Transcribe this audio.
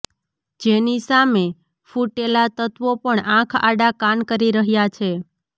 જેની સામે ફુટેલા તત્વો પણ આંખ આડા કાન કરી રહ્યા છે